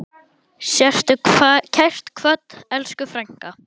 Sértu kært kvödd, elsku frænka.